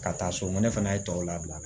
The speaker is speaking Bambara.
Ka taa so mɛnɛ fana ye tɔw labila